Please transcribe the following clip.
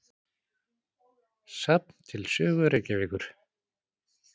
Safn til sögu Reykjavíkur.